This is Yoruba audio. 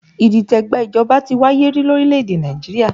Idite gba ìjọba ti wáyé rí lórílẹ̀ èdè Nàìjíríà